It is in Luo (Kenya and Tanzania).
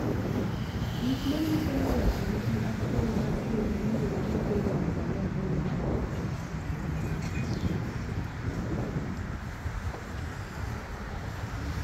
Gik manyiso ni ng'ato nigi athung' mar del miluongo ni Vein of Galen en mage?